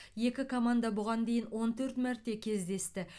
екі команда бұған дейін он төрт мәрте кездесті